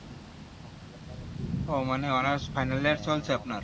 ও মানে honours final চলছে আপনার